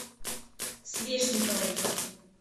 свешниковой